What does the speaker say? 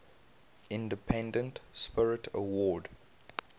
independent spirit award